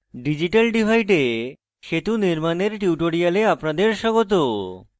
digital divide এ সেতু নির্মানের টিউটোরিয়ালে আপনাদের স্বাগত